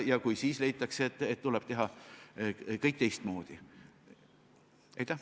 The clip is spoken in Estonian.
Kui siis leitakse, et kõik tuleb teistmoodi teha, eks siis tehakse.